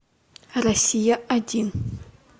россия один